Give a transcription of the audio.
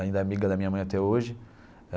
Ainda é amiga da minha mãe até hoje.